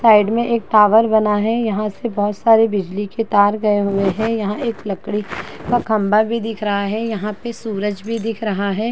Side में एक tower बना है। यहाँ से बहोत सारी बीजली की तार गए हुए हैं। यहाँ से एक लकड़ी का खम्बा भी दीख रहा है। यहाँ पे सूरज भी दीख रहा है।